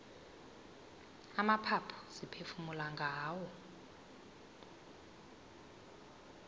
amaphaphu siphefumula ngawo